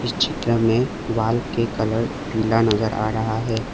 इस चित्र में वॉल के कलर पीला नजर आ रहा है।